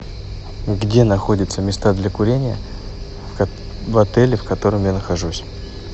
где находятся места для курения в отеле в котором я нахожусь